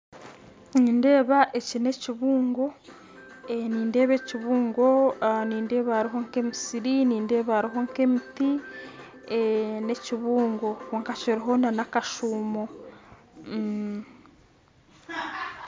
Nindeeba eki nekibungu nindeeba ekibungo nindeeba hariho nkemisiri nindeeba hariho nkemiti nekibungo kyonka kiriho nakashumo